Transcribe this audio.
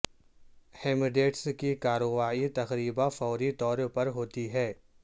ہیمڈیڈس کی کارروائی تقریبا فوری طور پر ہوتی ہے